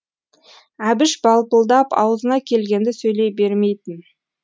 әбіш балпылдап аузына келгенді сөйлей бермейтін